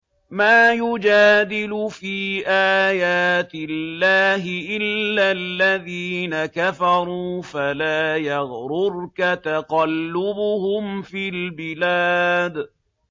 مَا يُجَادِلُ فِي آيَاتِ اللَّهِ إِلَّا الَّذِينَ كَفَرُوا فَلَا يَغْرُرْكَ تَقَلُّبُهُمْ فِي الْبِلَادِ